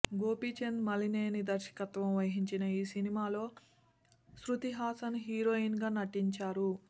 గోపీచంద్ మలినేని దర్శకత్వం వహించిన ఈ సినిమాలో శృతిహాసన్ హీరోయిన్గా నటించారు